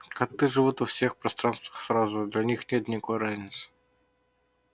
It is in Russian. коты живут во всех пространствах сразу для них нет никакой разницы